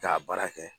K'a baara kɛ